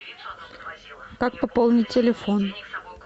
как пополнить телефон